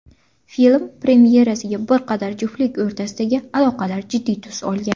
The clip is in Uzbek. Film premyerasiga qadar juftlik o‘rtasidagi aloqalar jiddiy tus olgan.